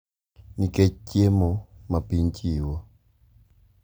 Nikech chiemo ma piny chiwo.